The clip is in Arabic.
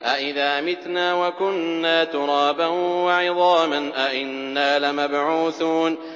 أَإِذَا مِتْنَا وَكُنَّا تُرَابًا وَعِظَامًا أَإِنَّا لَمَبْعُوثُونَ